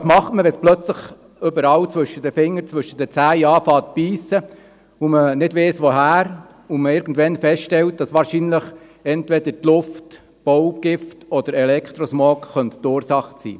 Ja, was macht man, wenn es plötzlich anfängt, überall zwischen den Fingern und Zehen zu jucken, und man nicht weiss, wieso, und man irgendwann feststellt, dass wahrscheinlich entweder die Luft, Baugift oder Elektrosmog die Ursachen sein könnten?